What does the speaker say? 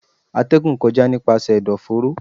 Atẹgún kọja nipasẹ ẹdọforo